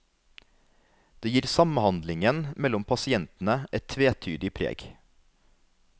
Det gir samhandlingen mellom pasientene et tvetydig preg.